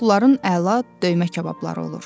Bunların əla döymə kababları olur.